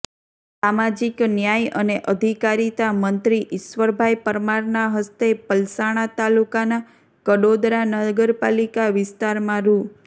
સામાજિક ન્યાય અને અધિકારિતા મંત્રી ઈશ્વરભાઈ પરમારના હસ્તે પલસાણા તાલુકાના કડોદરા નગરપાલિકા વિસ્તારમાં રૂા